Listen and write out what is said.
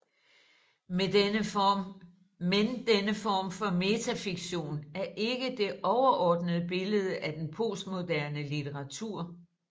Men denne form for metafiktion er ikke det overordnede billede af den postmoderne litteratur